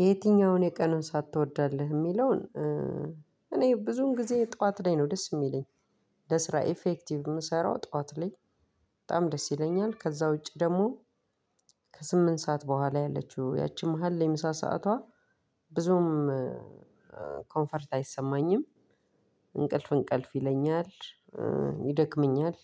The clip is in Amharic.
የየትኛውን የቀኑን ሰአትትወዳለህ? የሚለውን እኔ ብዙን ጊዜ ጠዋት ላይ ነው ደስ የሚለኝ ለስራ ኢፌክቲቭ የምሰራው ጠዋት ላይ በጣም ደስ ይለኛል። ከዛ ውጪ ደግሞ ከስምንት ሰዓት በኋላ ያለችው ያቺ መሃል የምሳ ሰዓቷ ብዙም ኮንፈርት አይሰማኝም፣ እንቅልፍ እንቅልፍ ይለኛል፣ ይደክመኛል፣